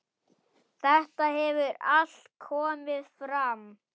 Þetta hefur allt komið fram.